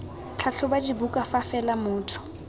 tlhatlhoba dibuka fa fela motho